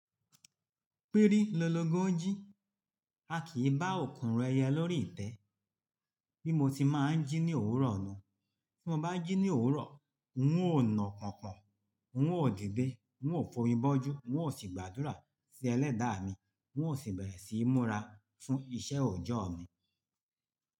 Pírí lolóngo jí, a kì í bá òkunrun ẹyẹ lórí ìtẹ́. Bí mo ti máa ń jí ní òwúrọ̀ ni. Tí mo bá jí ní òwúrọ̀, n ó na pọnpon, n ó dìde, n ó fomi bọ́jú, n ó sì gbàdúrà sí Ẹlẹ́dàá mi, n ó sì bẹ̀rẹ̀ sí í múra fún iṣẹ́ òòjọ́ mi.